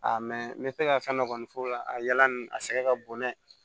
A mɛ n bɛ to ka fɛn dɔ kɔni f'o la a yala nin a sɛgɛ ka bon n'a ye